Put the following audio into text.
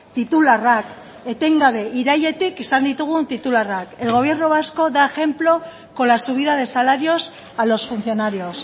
titularrak etengabe irailetik izan ditugun titularrak el gobierno vasco da ejemplo con la subida de salarios a los funcionarios